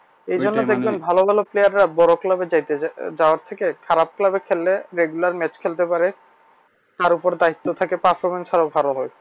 এজন্য দেখবেন ভালো ভালো player রা বড় club এ যাইতে যাওয়ার থেকে খারাপ club এ খেললে regular match পারে তার ওপর দায়িত্ব থাকে